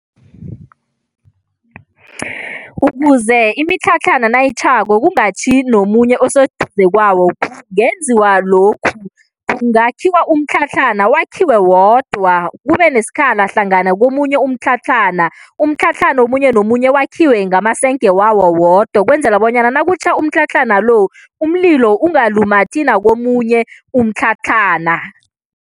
Ukuze imitlhatlhana nayitjhako kungatjhi nomunye oseduze kwawo kungenziwa lokhu, kungakhiwa umtlhatlhana, wakhiwe wodwa, kube nesikhala hlangana komunye umtlhatlhana. Umtlhatlhana omunye nomunye wakhiwe ngamasenge wawo wodwa ukwenzela bonyana nakutjha umtlhatlhana lo, umlilo ungalumathi nakomunye umtlhatlhana.